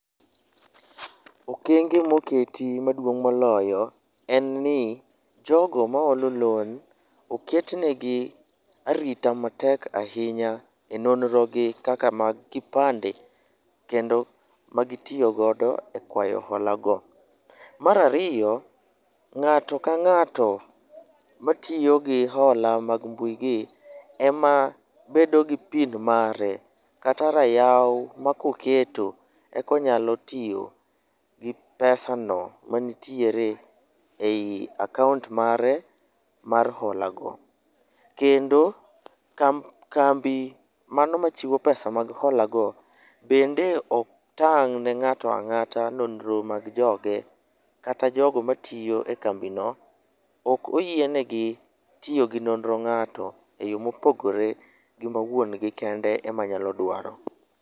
okenge moketi maduong' moloyo en ni ,jogo maholo loan oketnegi arita matek ahinya e nonrogi kaka mag kipande, kendo magitiyo godo e kwayo hola go. Mar ariyo, ng'ato ka ng'ato matiyo gi hola mag mbuigi ema bedo gi pin mare, kata rayaw ma koketo, eka onyalo tiyo gi pesano manitiere ei akaont mare mar holago. Kendo, kambi mano ma chiwo pesa mag holago, bende ok tang' ne ng'ato ang'ata nonro mag joge, kata jogo matiyo e kambino, ok oyienegi tiyo gi nonro ng'ato e yo mopogore gi mawuongi kende ema nyalo dwaro.